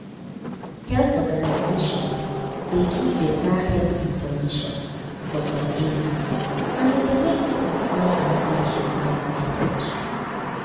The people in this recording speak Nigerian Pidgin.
health organization dey give better health info for some areas and e dey make people find another treatment method.